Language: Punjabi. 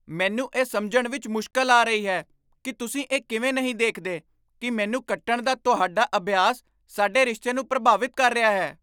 ਮੈਨੂੰ ਇਹ ਸਮਝਣ ਵਿਚ ਮੁਸ਼ਕਲ ਆ ਰਹੀ ਹੈ ਕਿ ਤੁਸੀਂ ਇਹ ਕਿਵੇਂ ਨਹੀਂ ਦੇਖਦੇ ਕਿ ਮੈਨੂੰ ਕੱਟਣ ਦਾ ਤੁਹਾਡਾ ਅਭਿਆਸ ਸਾਡੇ ਰਿਸ਼ਤੇ ਨੂੰ ਪ੍ਰਭਾਵਿਤ ਕਰ ਰਿਹਾ ਹੈ।